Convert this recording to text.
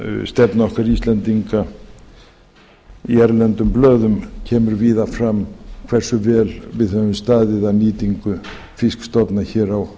fiskveiðistefnu okkar íslendinga í erlendum blöðum kemur víða fram hversu vel við höfum staðið að nýtingu fiskstofna hér á